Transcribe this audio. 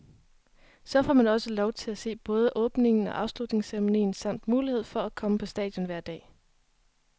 Så får man også lov til at se både åbningen og afslutningsceremonien samt mulighed for at komme på stadion hver dag.